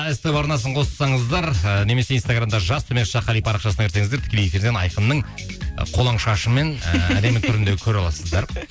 ств арнасын қоссаңыздар і немесе инстаграмда жас төмен сызықша қали парақшасына кірсеңіздер тікелей эфирден айқынның қолаң шашы мен ыыы әдемі түрін де көре аласыздар